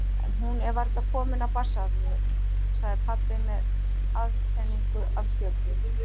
En hún er varla komin af barnsaldri, sagði pabbi með aðkenningu af kjökri.